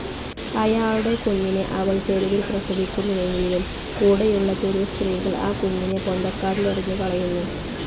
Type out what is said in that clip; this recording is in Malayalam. അയാളുടെ കുഞ്ഞിനെ അവൾ തെരുവിൽ പ്രസവിക്കുന്നെങ്കിലും കൂടെയുള്ള തെരുവ് സ്ത്രീകൾ ആ കുഞ്ഞിനെ പൊന്തക്കാട്ടിലെറിഞ്ഞു കളയുന്നു.